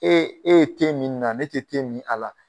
E e ye te min nin na ne tɛ te min a la.